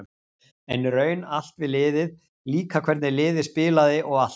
En í raun allt við liðið, líka hvernig liðið spilaði og allt.